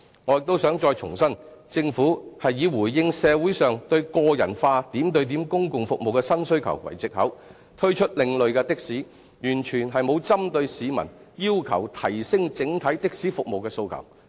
我亦想重申，政府以"回應社會上對個人化點對點公共服務的新需求"為藉口，推出另類的士，完全沒有針對市民要求提升整體的士服務的訴求。